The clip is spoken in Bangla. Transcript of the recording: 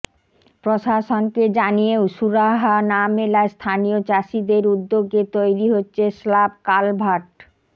প্রশাসনকে জানিয়েও সুরাহা না মেলায় স্থানীয় চাষিদের উদ্যোগে তৈরি হচ্ছে স্লাব কালভার্ট